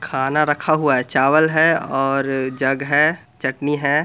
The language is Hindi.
खाना रखा हुआ है चावल है और जग है चटनी है।